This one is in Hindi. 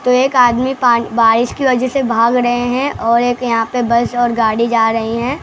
तो एक आदमी पान बारिश की वजह से भाग रे हैं और एक यहां पे बस और गाड़ी जा रही है।